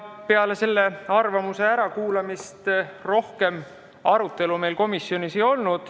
Peale selle arvamuse ärakuulamist rohkem arutelu meil komisjonis ei olnud.